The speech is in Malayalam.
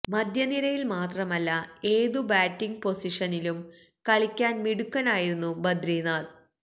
മധ്യനിരയില് മാത്രമല്ല ഏതു ബാറ്റിങ് പൊസിഷനിലും കളിക്കാന് മിടുക്കനായിരുന്നു ബദ്രിനാഥ്